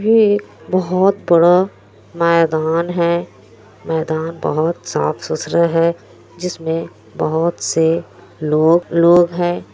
ये बहुत बड़ा मैदान है मैदान साफ-सुथरा हैं जिसमें लोग लोग है।